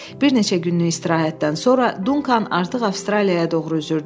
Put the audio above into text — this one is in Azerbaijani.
Bir neçə günlük istirahətdən sonra Dunkan artıq Avstraliyaya doğru üzürdü.